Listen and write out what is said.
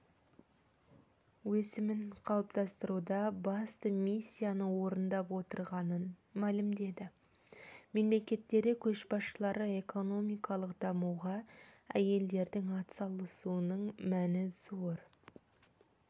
өсімін қалыптастыруда басты миссияны орындап отырғанын мәлімдеді мемлекеттері көшбасшылары экономикалық дамуға әйелдердің атсалысуының мәні зор